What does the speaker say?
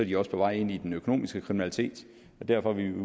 de også på vej ind i den økonomiske kriminalitet og derfor vil vi